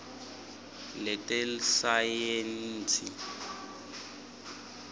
letesayensi